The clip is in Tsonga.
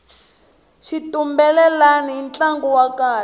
xitumbelelani i ntlangu wa kahle